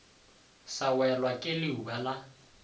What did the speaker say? sa welwa ke leuba la